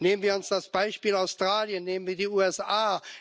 Nehmen wir uns das Beispiel Australien, nehmen wir die USA.